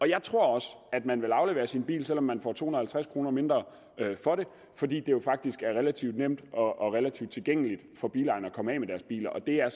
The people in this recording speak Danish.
jeg tror også at man vil aflevere sin bil selv om man får to hundrede og halvtreds kroner mindre for den fordi det jo faktisk er relativt nemt og relativt tilgængeligt for bilejerne at komme af med deres biler og det er